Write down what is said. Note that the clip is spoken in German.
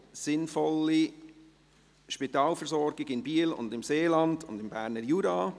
«Sinnvolle Spitalversorgung in Biel, im Seeland und im Berner Jura».